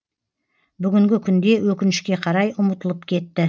бүгінгі күнде өкінішке қарай ұмытылып кетті